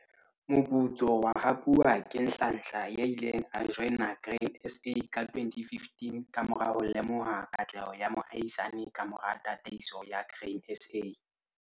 Moputso wa hapuwa ke Nhlanhla, 48, ya ileng a joina Grain SA ka 2015 ka mora ho lemoha katleho ya moahisani ka mora tataiso ya Grain SA.